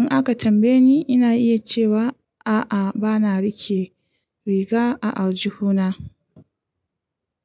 In aka tambaye ni, ina iya cewa a'a, bana riƙe riga a aljihuna.